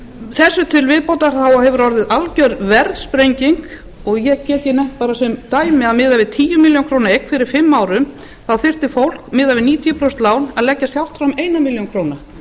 þessu til viðbótar hefur orðið alger verðsprenging ég get nefnt hér nefnt sem dæmi að miðað við tíu milljónir króna eign fyrir fimm árum þá þyrfti fólk miðað við níutíu prósent lán að leggja sjálft fram eina milljón króna